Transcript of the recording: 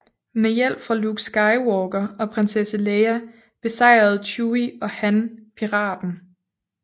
Med hjælp fra Luke Skywalker og Prinsesse Leia besejrede Chewie og Han piraten